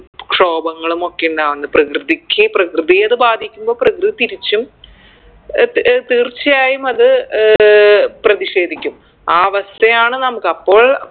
ക്ഷോഭങ്ങളുമൊക്കെ ഇണ്ടാവുന്നത് പ്രകൃതിക്ക് പ്രകൃതിയെ അത് ബാധിക്കുമ്പൊ പ്രകൃതി തിരിച്ചും ഏർ ത് ഏർ തീർച്ചയായും അത് ഏർ പ്രതിഷേധിക്കും ആ അവസ്ഥയാണ് നമ്മക്ക് അപ്പോൾ